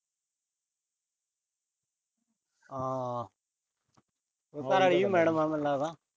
ਘਰ ਆਲੀ ਵੀ madam ਆ ਮੈਨੂੰ ਲੱਗਦਾ।